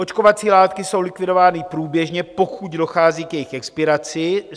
Očkovací látky jsou likvidovány průběžně, pokud dochází k jejich expiraci.